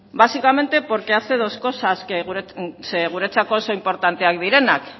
básicamente porque hace dos cosas zeren guretzako oso inportanteak direnak